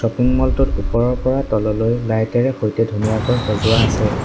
Shopping mall টোত ওপৰৰ পৰা তললৈ লাইট এৰে সৈতে ধুনীয়াকৈ সজোৱা আছে।